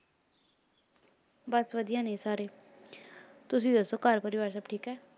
ਬੱਸ ਵਧੀਆ ਨੇ ਸਾਰੇ ਤੁਸੀਂ ਦੱਸੋ ਘਰ ਪਰਿਵਾਰ ਸਭ ਠੀਕ ਹੈ